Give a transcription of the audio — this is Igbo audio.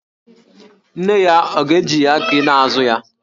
Nne ya, ọ ga-eji aki na-azụ ya?